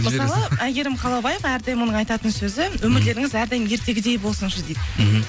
мысалы әйгерім қалаубаева әрдайым оның айтатын сөзі өмірлеріңіз әрдайым ертегідей болсыншы дейді мхм